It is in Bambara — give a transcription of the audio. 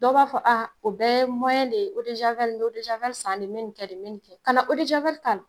Dɔ b'a fɔ o bɛ ye de ye san de, n mi nin kɛ, n mi nin kɛ, kana k'a la.